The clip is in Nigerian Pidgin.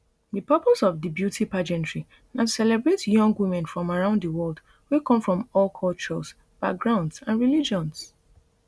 di purpose of di beauty pageantry na to celebrate young women from around di world wey come from all cultures backgrounds and religions